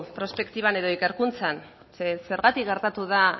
prospektiban edo ikerkuntzan zeren zergatik gertatu da